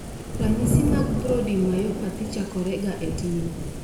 Ranyisi mag Brody myopathy chako ga e tin